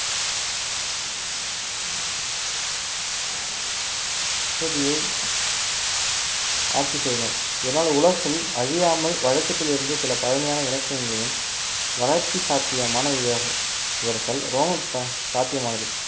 பகுதியை ஆட்சி செய்தனர் இதனால் உலகில் அழியாமல் வழக்கத்தில் இருந்து சில பழமையான இலக்கியங்களையும் வளர்ச்சி சாத்தியமான இவர்~ இவர்கள் ரோம ப~ சாத்தியமானது